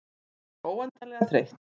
Hún var svo óendanlega þreytt.